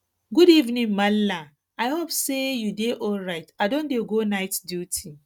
good evening maala i hope sey you dey alright i don dey go night duty